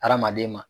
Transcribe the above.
Hadamaden ma